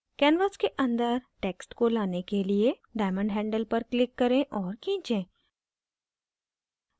canvas के अंदर text को लाने के लिए diamond handle पर click करें और खींचे